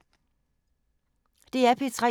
DR P3